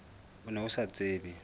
o ne o sa tsebe